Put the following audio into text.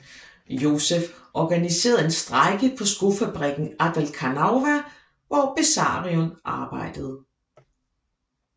Josef organiserede en strejke på skofabrikken Adelkhanova hvor Besarion arbejdede